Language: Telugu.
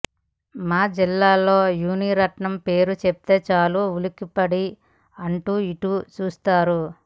మా జిల్లాల్లో మునిరత్నం పేరు చెప్తే చాలు ఉలిక్కిపడి అటూ ఇటూ చూస్తారు